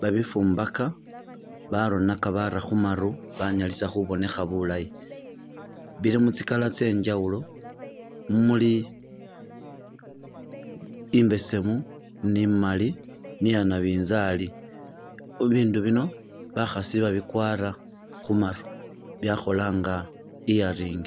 ,babifumbaka baronaka bara khumaru banyalisa khubonekha bulayi ,bili mu tsi'color tsye njawulo muli imbesemu ni imali ni iya nabinzali ,bibindu bino bakhasi babikwara khumaru byakhola nga earring